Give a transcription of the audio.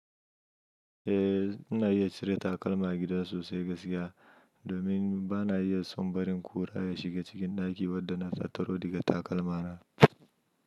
Eh, ina iya cire takalma gida sosai gaskiya. Domin bana iya son barin kura ya shiga cikin ɗaki wadda na tataro daga takalma na.